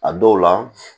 A dɔw la